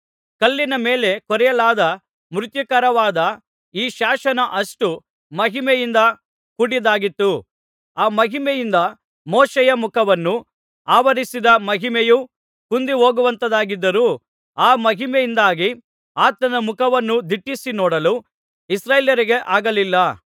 ಕಲ್ಲಿನ ಮೇಲೆ ಕೊರೆಯಲಾದ ಮೃತ್ಯುಕಾರಕವಾದ ಈ ಶಾಸನ ಅಷ್ಟು ಮಹಿಮೆಯಿಂದ ಕೂಡಿದ್ದಾಗಿತ್ತು ಆ ಮಹಿಮೆಯಿಂದ ಮೋಶೆಯ ಮುಖವನ್ನು ಆವರಿಸಿದ್ದ ಮಹಿಮೆಯೂ ಕುಂದಿಹೋಗುವಂಥದ್ದಾಗಿದ್ದರೂ ಆ ಮಹಿಮೆಯಿಂದಾಗಿ ಆತನ ಮುಖವನ್ನು ದಿಟ್ಟಿಸಿ ನೋಡಲು ಇಸ್ರಾಯೇಲರಿಗೆ ಆಗಲಿಲ್ಲ